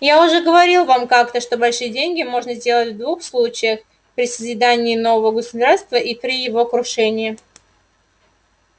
я уже говорил вам как-то что большие деньги можно сделать в двух случаях при созидании нового государства и при его крушении